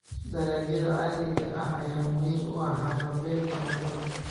Dalagyada caadiga ah ayaa muhiim u ah haqab-beelka cuntada.